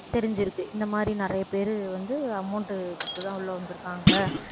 தெரிஞ்சிருக்கு இந்த மாதிரி நிறைய பேரு வந்து amount உ கொடுத்துதான் உள்ள வந்திருக்காங்க